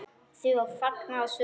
Því var fagnað af sumum.